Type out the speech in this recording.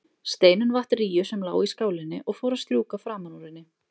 Steinunn vatt rýju sem lá í skálinni og fór að strjúka framan úr henni.